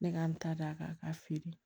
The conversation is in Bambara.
Ne ka n ta d'a kan a k'a feere